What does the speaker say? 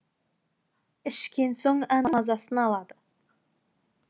ішкен соң әндрейдің мазасын алады